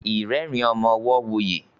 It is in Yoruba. irerin ọmọ ọwo wuyi.